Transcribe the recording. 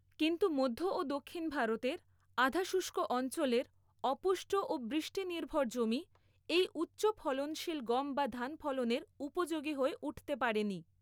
কিন্তু মধ্য ও দক্ষিণ ভারতের আধা শুষ্ক অঞ্চলের অপুষ্ট ও বৃষ্টিনির্ভর জমি এই উচ্চ ফলনশীল গম বা ধান ফলনের উপযোগী হয়ে উঠতে পারেনি।